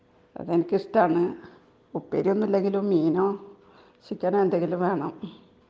എനിക്ക് ഇഷ്ടം ആണ്.ഉപ്പേരി ഒന്നും ഇല്ലെങ്കിലും മീനും ചിക്കൻ ഉം എന്തെങ്കിലുമൊക്കെ വേണം .